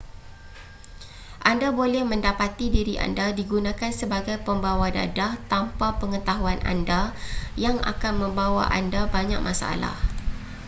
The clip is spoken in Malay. anda boleh mendapati diri anda digunakan sebagai pembawa dadah tanpa pengetahuan anda yang akan membawa anda banyak masalah